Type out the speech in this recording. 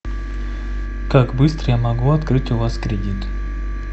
как быстро я могу открыть у вас кредит